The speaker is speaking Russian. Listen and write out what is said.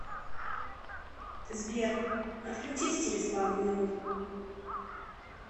сбер отключись через пару минут